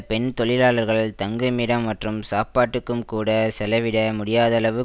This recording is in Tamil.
பெண் தொழிலாளர்கள் தங்குமிடம் மற்றும் சாப்பாட்டுக்கும் கூட செலவிட முடியாதளவு